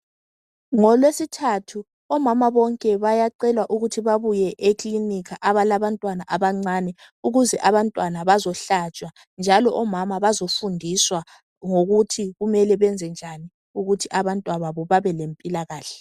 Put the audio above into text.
Ngolwesithathu omama bonke bayacelwa ukuthi babuye ekilinika abalabantwana abancane ukuze abantwana bazohlatshwa njalo omama bazofundiswa ngokuthi kumele benze njani ukuthi abantwababo babe lempilakahle.